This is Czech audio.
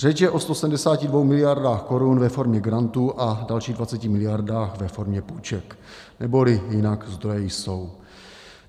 Řeč je o 172 miliardách korun ve formě grantů a dalších 20 miliardách ve formě půjček - neboli jinak: zdroje jsou.